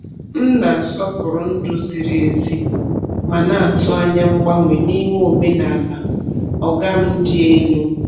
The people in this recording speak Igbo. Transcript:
M na-asọpụrụ ndú ziri ezi, ma na-atụ anya mgbanwe n’ime omenala “oga m dị elu.”